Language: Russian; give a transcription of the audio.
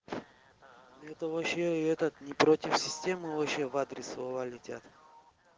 это вообще этот не против системы вообще в адрес слова летят